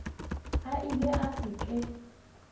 a ile a se ke